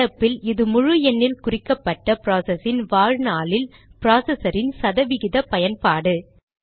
நடப்பில் இது முழு எண்ணில் குறிக்கப்பட்ட ப்ராசஸின் வாழ்நாளில் ப்ராசஸரின் சத விகித பயன்பாடு